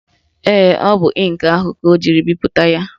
Ee, ọ bụ ịnkị ahụ ka ọ jiri bipụta ya